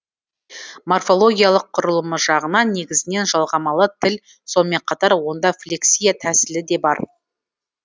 морфологиялық құрылымы жағынан негізінен жалғамалы тіл сонымен қатар онда флексия тәсілі де бар